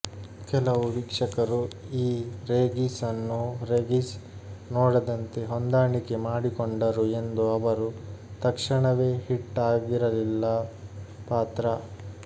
ಕೆಲವು ವೀಕ್ಷಕರು ಈ ರೀಗಿಸ್ ಅನ್ನು ರೆಗಿಸ್ ನೋಡದಂತೆ ಹೊಂದಾಣಿಕೆ ಮಾಡಿಕೊಂಡರು ಎಂದು ಅವರು ತಕ್ಷಣವೇ ಹಿಟ್ ಆಗಿರಲಿಲ್ಲ ಪಾತ್ರ